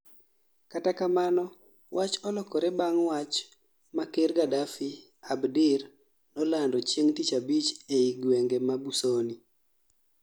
kata kamano wach olokore bang' wach ma ker Gadafi Abdir no lando chieng' tich abich ei gwenge ma Busoni